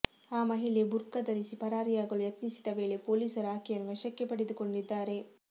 ಆ ಮಹಿಳೆ ಬುರ್ಖಾ ಧರಿಸಿ ಪರಾರಿಯಾಗಲು ಯತ್ನಿಸಿದ್ದ ವೇಳೆ ಪೊಲೀಸರು ಆಕೆಯನ್ನು ವಶಕ್ಕೆ ಪಡೆದುಕೊಂಡಿದ್ದಾರೆ